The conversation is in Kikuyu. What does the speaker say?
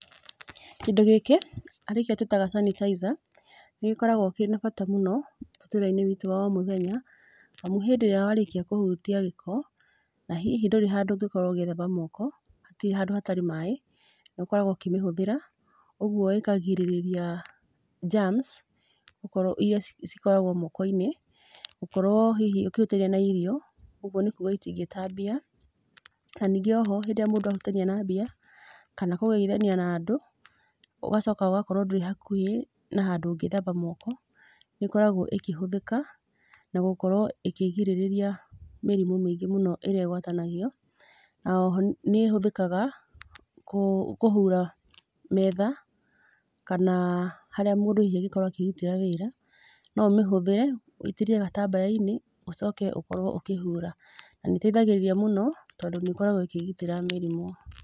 Kĩndũ gĩkĩ, arĩ kĩo tũĩtaga sanitizer, nĩ gĩkoragwo kĩna bata mũno, mũtũrĩre-inĩ witũ wa o mũthenya, amu hĩndĩ ĩrĩa warĩkia kũhutia gĩko, na hihi ndũrĩ handũ ũngĩkorwo ũgĩthamba moko, hatirĩ handũ hatarĩ maaĩ, nĩ ũkoragwo ũkĩmĩhũthĩra. Ũguo ĩkagirĩrĩria germs, gũkorwo irĩa cikoragwo moko-inĩ, gũkorwo hihi ũkĩhutania na irio. Ũguo nĩ kuuga itingĩtambia. Na ningĩ oho rĩrĩa mũndũ ahutania na mbia, kana kũgeithania na andũ, ũgacoka ũgakorwo ndũrĩ hakuhĩ na handũ ũngĩthamba moko, nĩ ĩkoragwo ĩkĩhũthĩka, na gũkorwo ĩkĩgirĩrĩria mĩrimũ mĩingĩ mũno ĩrĩa ĩgũatanagio. Na oho nĩ ĩhũthĩkaga, kũhura metha, kana harĩa mũndu hihi angĩkorwo akĩrutĩra wĩra, no ũmĩhũthĩre, wĩitĩrĩrie gatambaya-inĩ, ũcoke ũkorwo ũkĩhura. Na nĩ ĩteithagĩrĩria mũno, tondũ nĩ ĩkoragwo ĩkĩgitĩra mĩrimũ.